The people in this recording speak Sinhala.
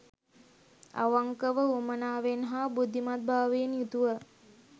අවංකව උවමනාවෙන් හා බුද්ධිමත්භාවයෙන් යුතුව